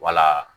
Wala